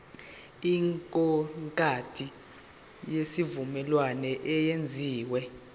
ikontraki yesivumelwano eyenziwe